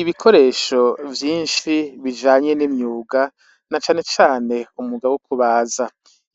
Ibikoresho vyishi bijanye n'imyuga na cane cane umwuga wo kubaza